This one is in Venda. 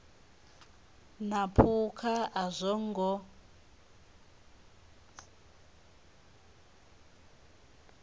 na phukha a zwo ngo